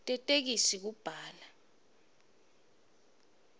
tetheksthi kubhala